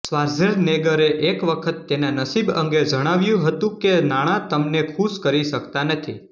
શ્વાર્ઝેનેગરે એક વખત તેના નસીબ અંગે જણાવ્યું હતું કે નાણાં તમને ખુશ કરી શકતા નથી